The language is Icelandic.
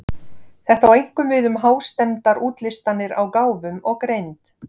Þetta á einkum við um hástemmdar útlistanir á gáfum og greind.